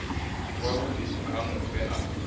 wa vhuḓi ha mufhe a